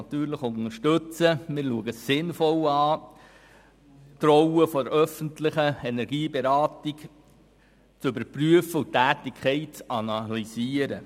Wir erachten es als sinnvoll, die Rolle der öffentlichen Energieberatung zu überprüfen und die Tätigkeit zu analysieren.